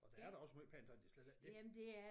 Og der er da også måj pænt tøj det er slet ikke det